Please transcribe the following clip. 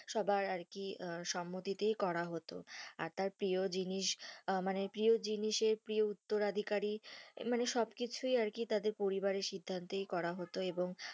সবার আরকি সম্মতি তাই করা হতো, আর তার প্রিয় জিনিস মানে প্রিয় জিনিসের প্রিয় উত্তরাধিকারী মানে সব কিছুই আরকি তাদের পরিবারের সিদ্ধান্তেই করা হতো এবং,